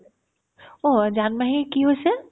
অ', জানমাহীৰ কি হৈছে ?